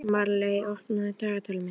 Marley, opnaðu dagatalið mitt.